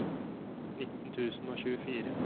nitten tusen og tjuefire